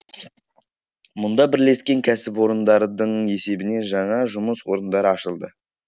мұнда бірлескен кәсіпорындардың есебінен жаңа жұмыс орындары ашылды